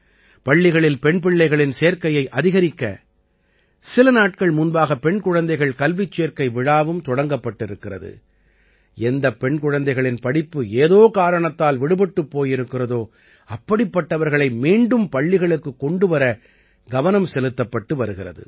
பள்ளிகளில் பெண் பிள்ளைகளின் சேர்க்கையை அதிகரிக்க சில நாட்கள் முன்பாக பெண் குழந்தைகள் கல்விச் சேர்க்கை விழாவும் தொடங்கப்பட்டிருக்கிறது எந்தப் பெண் குழந்தைகளின் படிப்பு ஏதோ காரணத்தால் விடுபட்டுப் போயிருக்கிறதோ அப்படிப்பட்டவர்களை மீண்டும் பள்ளிகளுக்குக் கொண்டு வர கவனம் செலுத்தப்பட்டு வருகிறது